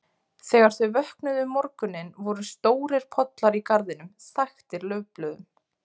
Þegar þau vöknuðu um morguninn voru stórir pollar í garðinum, þaktir laufblöðum.